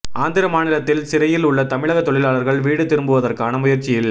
ஆந்திர மாநிலத்தின் சிறையில் உள்ள தமிழக தொழிலாளர்கள் வீடு திரும்புவதற்கான முயற்சியில்